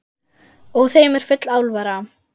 Og þeim er full alvara.